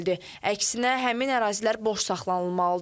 Əksinə, həmin ərazilər boş saxlanılmalıdır.